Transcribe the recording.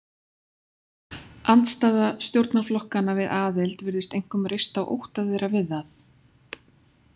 Andstaða stjórnarflokkanna við aðild virðist einkum reist á ótta þeirra við það.